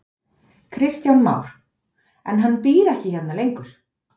Kristján Már: En hann býr ekki hérna lengur?